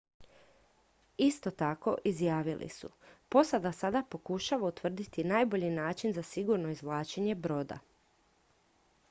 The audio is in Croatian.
"isto tako izjavili su: "posada sada pokušava utvrditi najbolji način za sigurno izvlačenje broda.""